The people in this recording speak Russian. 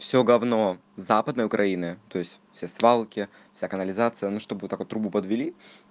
все гавно западная украина то есть все свалки вся канализация ну чтоб вот так трубу подвели